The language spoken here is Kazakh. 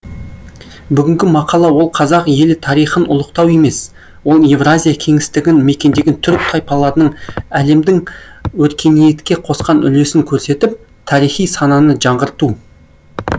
бүгінгі мақала ол қазақ елі тарихын ұлықтау емес ол евразия кеңістігін мекендеген түрік тайпаларының әлемдің өркениетке қосқан үлесін көрсетіп тарихи сананы жаңғырту